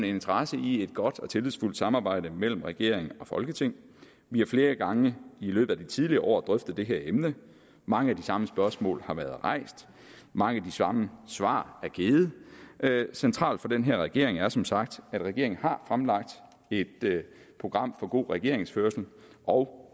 interesse i et godt og tillidsfuldt samarbejde mellem regering og folketing vi har flere gange i løbet af de tidligere år drøftet det her emne mange af de samme spørgsmål har været rejst mange af de samme svar er givet centralt for den her regering er som sagt at regeringen har fremlagt et program for god regeringsførelse og